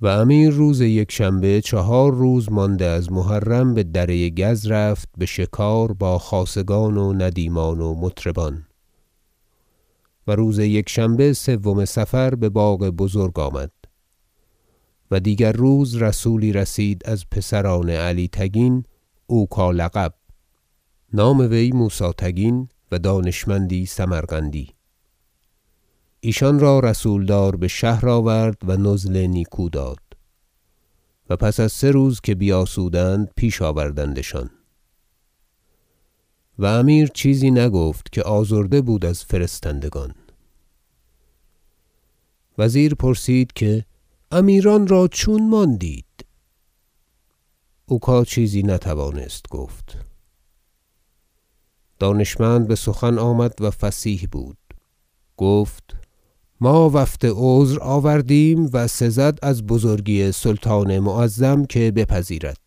و امیر روز یکشنبه چهار روز مانده از ماه محرم بدره گز رفت بشکار با خاصگان و ندیمان و مطربان و روز یکشنبه سوم صفر بباغ بزرگ آمد و دیگر روز رسولی رسید از پسران علی تگین اوکا لقب نام وی موسی تگین و دانشمندی سمرقندی ایشان را رسولدار بشهر آورد و نزل نیکو داد و پس از سه روز که بیاسودند پیش آوردندشان و امیر چیزی نگفت که آزرده بود از فرستندگان وزیر پرسید که امیران را چون ماندید اوکا چیزی نتوانست گفت دانشمند بسخن آمد و فصیح بود گفت ما وفد عذر آوردیم و سزد از بزرگی سلطان معظم که بپذیرد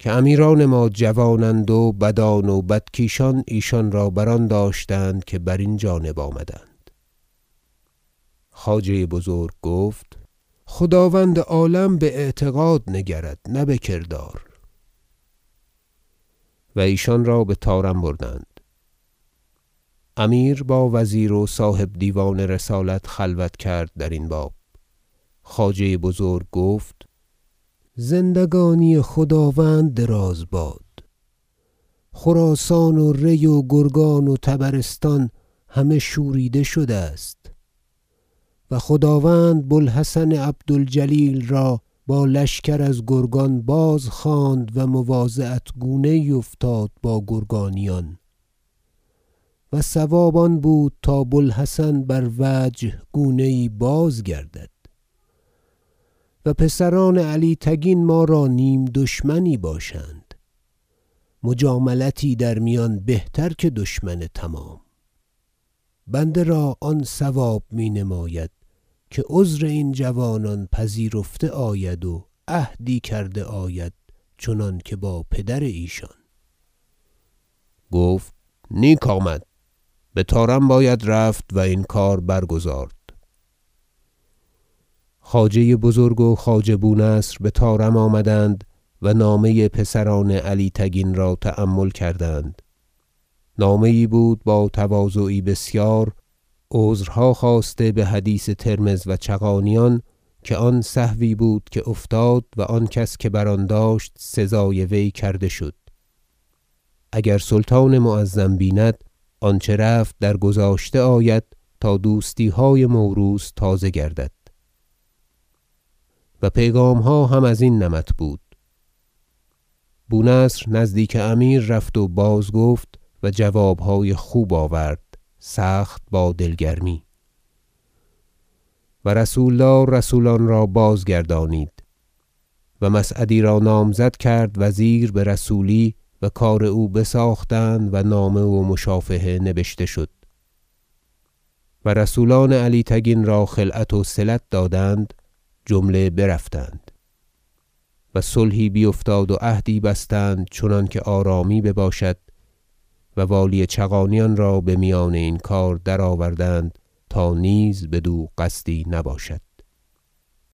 که امیران ما جوانند و بدان و بدکیشان ایشان را بر آن داشتند که برین جانب آمدند خواجه بزرگ گفت خداوند عالم باعتقاد نگرد نه بکردار و ایشان را بطارم بردند امیر با وزیر و صاحب دیوان رسالت خلوت کرد درین باب خواجه بزرگ گفت زندگانی خداوند دراز باد خراسان و ری و گرگان و طبرستان همه شوریده شده است و خداوند بوالحسن عبد الجلیل را با لشکر از گرگان بازخواند و مواضعت گونه یی افتاد با گرگانیان و صواب بود تا بوالحسن بر وجه گونه یی بازگردد و پسران علی تگین ما را نیم دشمنی باشند مجاملتی در میان بهتر که دشمن تمام بنده را آن صواب می نماید که عذر این جوانان پذیرفته آید و عهدی کرده آید چنانکه با پدر ایشان گفت نیک آمد بطارم باید رفت و این کار برگزارد خواجه بزرگ و خواجه بونصر بطارم آمدند و نامه پسران علی تگین را تأمل کردند نامه یی بود با تواضعی بسیار عذرها خواسته بحدیث ترمذ و چغانیان که آن سهوی بود که افتاد و آن کس که بر آن داشت سزای وی کرده شد اگر سلطان معظم بیند آنچه رفت در گذاشته آید تا دوستیهای موروث تازه گردد و پیغامها هم ازین نمط بود بونصر نزدیک امیر رفت و بازگفت و جوابهای خوب آورد سخت با دل گرمی و رسولدار رسولان را بازگردانید و مسعدی را نامزد کرد وزیر برسولی و کار او بساختند و نامه و مشافهه نبشته شد و رسولان علی تگین را خلعت وصلت دادند جمله برفتند و صلحی بیفتاد و عهدی بستند چنانکه آرامی بباشد و والی چغانیان را بمیان این کار درآوردند تا نیز بدو قصدی نباشد